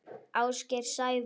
Ásgeir Sævar.